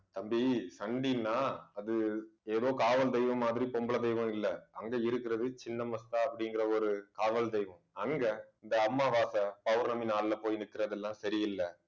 தம்பி, சண்டின்னா அது ஏதோ காவல் தெய்வம் மாதிரி பொம்பளை தெய்வம் இல்லை. அங்க இருக்கிறது சின்ன மஸ்தா அப்படிங்கிற ஒரு காவல் தெய்வம். அங்க இந்த அமாவாசை பௌர்ணமி நாள்ல போய் நிக்கிறது எல்லாம் சரியில்ல